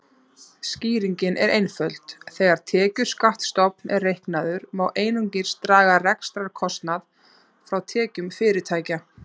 Skýringin er einföld: Þegar tekjuskattsstofn er reiknaður má einungis draga rekstrarkostnað frá tekjum fyrirtækja.